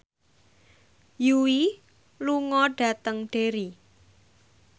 Yui lunga dhateng Derry